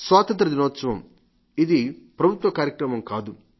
స్వాతంత్ర్య దినోత్సవం ఇది ప్రభుత్వ కార్యక్రమం కాదు